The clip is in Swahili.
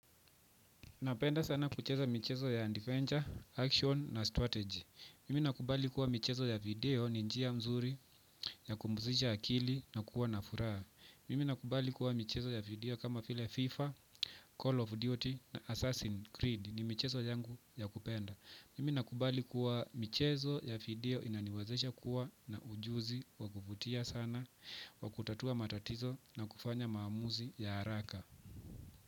Napenda sana kucheza michezo ya adventure, action na strategy. Mimi nakubali kuwa michezo ya video ni njia zzuri ya kumbuzisha akili na kuwa na furaha. Mimi nakubali kuwa mchezo ya video kama file FIFA, Call of Duty na Assassin's Creed ni mchezo yangu ya kupenda. Mimi nakubali kuwa michezo ya video inaniwezesha kuwa na ujuzi wa kuvutia sana, wa kutatua matatizo na kufanya maamuzi ya haraka.